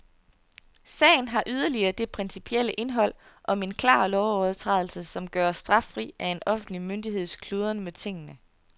Sagen har yderligere det principielle indhold, om en klar lovovertrædelse kan gøres straffri af en offentlig myndigheds kludren med tingene.